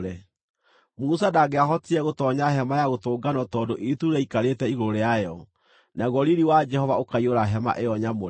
Musa ndangĩahotire gũtoonya Hema-ya-Gũtũnganwo tondũ itu rĩaikarĩte igũrũ rĩayo, naguo riiri wa Jehova ũkaiyũra hema ĩyo nyamũre.